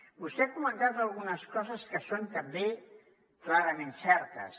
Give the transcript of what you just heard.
vostè ha comentat algunes coses que són també clarament certes